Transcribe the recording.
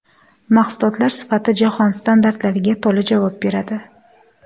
Mahsulotlar sifati jahon standartlariga to‘la javob beradi.